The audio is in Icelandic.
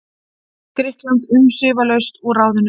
Grikkland umsvifalaust úr ráðinu.